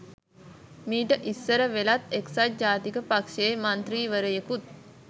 මීට ඉස්සර වෙලාත් එක්සත් ජාතික පක්ෂයේ මන්ත්‍රීවරයෙකුත්